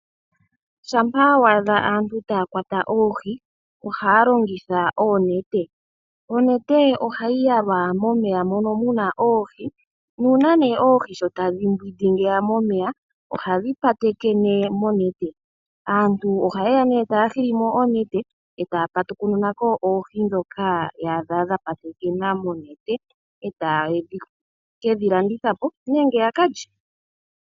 Shampa wa adha aantu taya kwata oohi ohaya longitha oonete. Onete ohayi yalwa momeya mono muna oohi, nuuna nee oohi sho tadhi mbwindi ngiya momeya ohadhi patekene monete. Aantu oha yeya nduno taya hili mo oonete, e taya patukununa ko oohi dhoka taya adha dha patekena monete e taye kedhi landitha po nenge ya kalye.